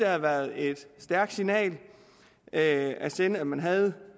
have været et stærkt signal at at sende at man havde